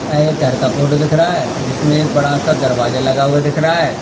यह एक घर का फोटो दिख रहा है जिसमें एक बड़ा सा दरवाजा लगा हुआ दिख रहा है।